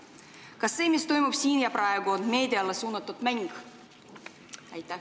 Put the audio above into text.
Kas see, mis toimub siin ja praegu, on meediale suunatud mäng?